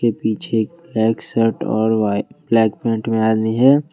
पीछे black shirt और black pant में आदमी है।